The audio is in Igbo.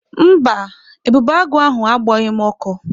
Mba, ebubeagụ ahụ agbọghị m ọkọ.